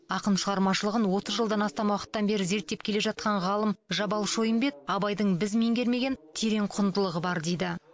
ақын шығармашылығын отыз жылдан астам уақыттан бері зерттеп келе жатқан ғалым жабал шойынбет абайдың біз меңгермеген терең құндылығы бар дейді